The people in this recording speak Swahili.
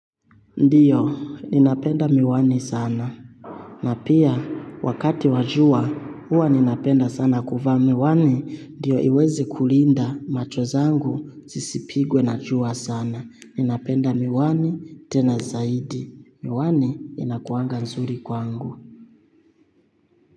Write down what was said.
Ndiyo, ninapenda miwani sana. Na pia wakati wa jua huwa ninapenda sana kuvaa miwani ndiyo iweze kulinda macho zangu zisipigwe na jua sana. Ninapenda miwani, tena zaidi. Miwani inakuanga nzuri kwangu.